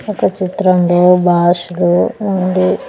ఒక చిత్రం లో ఉండు.